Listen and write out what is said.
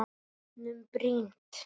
Bátnum brýnt.